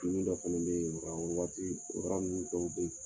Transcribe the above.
dɔ fɛnɛ bɛ ye waati